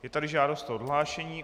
Je tady žádost o odhlášení.